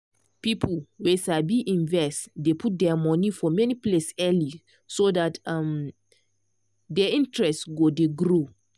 people wey sabi invest dey put their monie for many place early so dat um de interest go dey grow.